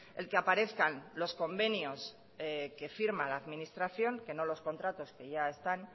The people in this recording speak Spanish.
el que aparezcan los convenios que firma la administración que no los contratos que ya están